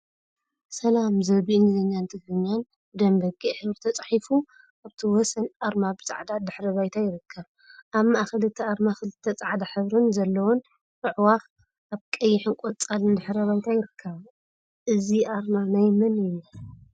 ሰላም ዝብል ብእንግሊዘኛን ትግርኛን ብደም በጊዕ ሕብሪ ተፃሒፉ አብቲ ወሰን አርማ ብፃዕዳ ድሕረ ባይታ ይርከብ፡፡ አብ ማእከል እቲ አርማ ክልተ ፃዕዳ ሕብሪ ዘለዎን አዕዋፍ እብ ቀይሕን ቆፃልን ድሕረ ባይታ ይርከባ፡፡ እዚ አርማ ናይ መን እዩ?